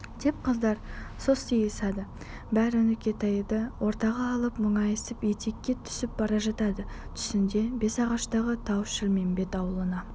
деп қыздар состиысады бәрі нүкетайды ортаға алып мұңайысып етекке түсіп бара жатады түсінде бесағаштағы тау-шілмембет ауылына